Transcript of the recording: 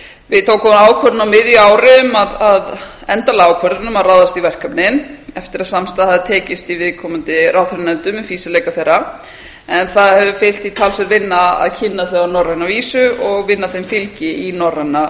við tókum þá ákvörðun á miðju ári um endanlega ákvörðun um að ráðast í verkefnin eftir að samstaða hafði tekist í viðkomandi ráðherranefndum um fýsileika þeirra en það hefur fylgt því talsverð vinna að kynna þau á norræna vísu og vinna þeim fylgi í norræna